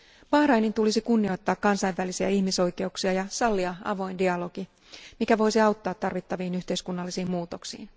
Bahrainin tulisi kunnioittaa kansainvälisiä ihmisoikeuksia ja sallia avoin dialogi, mikä voisi auttaa tarvittaviin yhteiskunnallisiin muutoksiin.